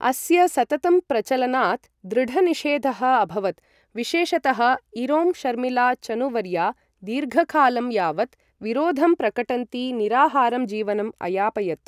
अस्य सततं प्रचलनात् दृढनिषेधः अभवत्, विशेषतः इरोम शर्मिला चनुवर्या दीर्घकालं यावत् विरोधं प्रकटन्ती, निराहारं जीवनम् अयापयत्।